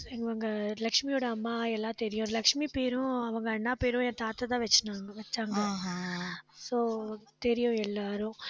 இவங்க லட்சுமியோட அம்மா எல்லாம் தெரியும். லட்சுமி பேரும், அவங்க அண்ணா பேரும் என் தாத்தாதான் வச்சின்னங்க வெச்சாங்க. so தெரியும் எல்லாரும்.